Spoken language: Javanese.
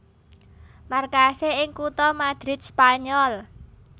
Markasé ing kutha Madrid Spanyol